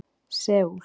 Seúl